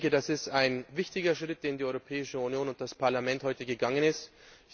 Das ist ein wichtiger Schritt, den die Europäische Union und das Parlament heute gegangen sind.